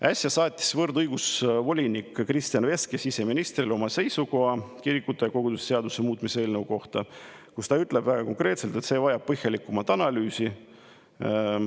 Äsja saatis võrdõiguslikkuse volinik Christian Veske siseministrile oma seisukoha kirikute ja koguduste seaduse muutmise seaduse eelnõu kohta, kus ta ütleb väga konkreetselt, et see vajab põhjalikumat analüüsi.